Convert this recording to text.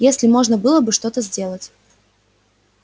если можно было бы что-то сделать